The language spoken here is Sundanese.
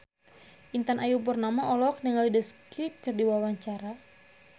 Intan Ayu Purnama olohok ningali The Script keur diwawancara